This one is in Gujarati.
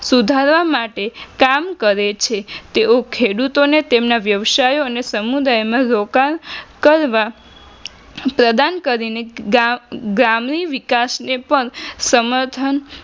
સુધારવા માટે કામ કરે છે તેઓ ખેડૂતોને તેમના વ્યવસાય અને સમુદાયમાં રોકાણ કરવા પ્રદાન કરીને એક ગામગ્રામીણ વિકાસને પણ સમર્થન